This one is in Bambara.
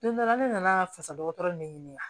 Don dɔ la ne nana fasa dɔgɔtɔrɔ ɲɛ ɲini a